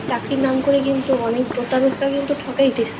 চাকরির নাম করে কিন্তু অনেক প্রতারক রা কিন্তু ঠকাই দিতেছে